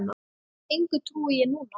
Engu trúi ég núna.